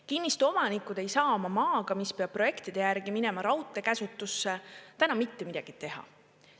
Kinnistuomanikud ei saa oma maaga, mis peab projektide järgi minema raudtee käsutusse, täna mitte midagi teha.